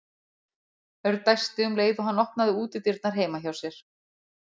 Örn dæsti um leið og hann opnaði útidyrnar heima hjá sér.